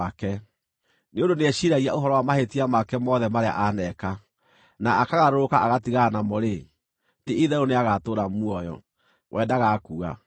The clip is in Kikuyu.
Nĩ ũndũ nĩeciiragia ũhoro wa mahĩtia make mothe marĩa aneeka, na akagarũrũka agatigana namo-rĩ, ti-itherũ nĩagatũũra muoyo; we ndagakua.